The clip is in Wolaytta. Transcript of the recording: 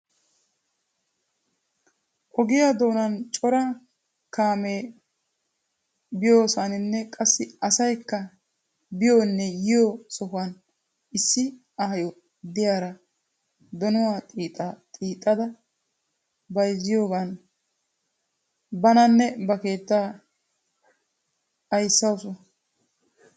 Ogiya doonan cora kaamee biyoosaninne qassi asayikka biyonne yiyo sohuwan issi aayo diyara donuwa xiixxa xiixxada bayizziyoogan bananne ba keettaa ayissawusu.